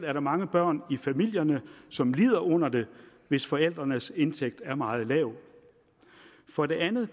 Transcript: er der mange børn i familierne som lider under det hvis forældrenes indtægt er meget lav for det andet